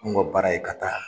Nun ka baara ye ka taa